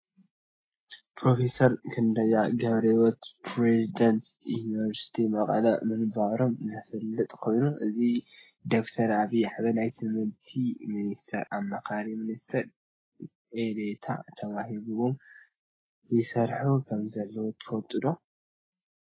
ፕሮፊሰር ክንደያ ገብርሂወት ፕረዚደንት ዩኒቨርሲቲ መቐለ ምንባሮም ዝፍለጥ ኮይኑ ሕዚ ብዶክተር ኣብይ ኣሕመድ ናይ ትምህርቲ ሚኒስቴር ኣማካሪ ሚኒስትር ዴኤታ ተዋሂብዎም ይሰርሑ ከምዘለው ትፈልጡ ዶ ?